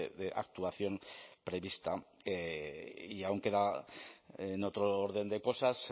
de actuación prevista y aún queda en otro orden de cosas